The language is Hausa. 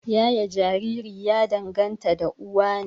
Yaye Jariri ya danganta da uwa ne